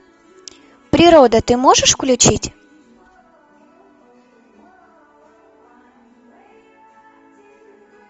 природа ты можешь включить